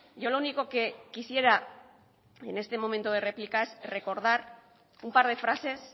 yo lo único que quisiera en este momento de réplica es recordar un par de frases